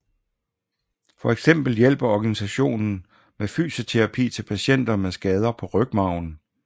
For eksempel hjælper organisationen med fysioterapi til patienter med skader på rygmarven